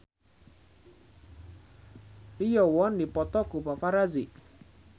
Lee Yo Won dipoto ku paparazi